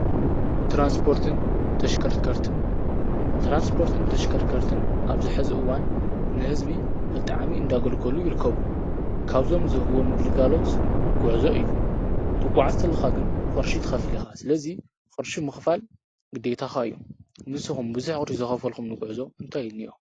ትራንስፓርትን ተሽከርከርትን ኣብዝሕዚ እዋን ንሕዝቢ ብጣዕሚ እንዳገልገሉ ይርከቡ፡፡ ካብዞም ዝህብዎም ግልጋሎት ጐዕዞ እዩ፡፡ ትጉዓዝ ተለኻ ግን ቅርሺ ትኸፊል ኢኻ፡፡ ስለዙይ ቕርሺ ምኽፋል ግዲታኻ እዩ፡፡ ንስኹም ብዙሕ ቅርሺ ዝኸፈልኹሙሉ ጉዕዞ እንታይ እኒ እዩ እኒኦ?